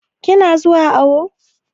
Ki na zuwa awo?